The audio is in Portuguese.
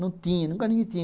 Não tinha, nunca ninguém tinha.